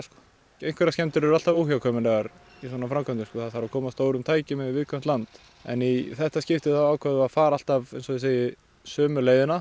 einhverjar skemmdir eru alltaf óhjákvæmilegar í svona framkvæmdum þegar þarf að koma stórum tækjum yfir viðkvæmt land en í þetta skipti þá ákváðum við að fara alltaf eins og ég segi sömu leiðina